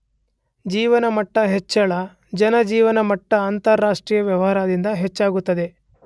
ಜೀವನ ಮಟ್ಟ ಹೆಚ್ಚಳ , ಜನ ಜೀವನ ಮಟ್ಟ ಅಂತರಾಷ್ಟ್ರೀಯ ವ್ಯವಹಾರದಿಂದ ಹೆಚ್ಚಾಗುತ್ತದೆ.